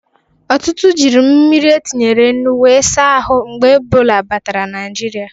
Ọtụtụ jiri mmiri e tinyere nnụ we za ahụ mgbe Ebọla batara Naijiria